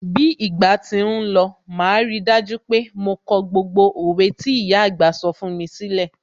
Bí ìgbà tí ń lọ, màá rí dájú pé mo kọ gbogbo òwe tí ìyà àgbà sọ fún mi sílẹ̀.